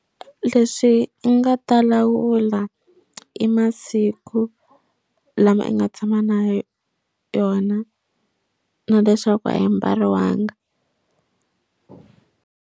Leswi nga ta lawula i masiku lama i nga tshama na yona na leswaku a yi mbariwanga.